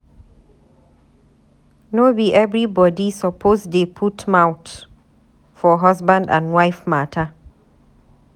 No be everybodi suppose dey put mouth for husband and wife mata.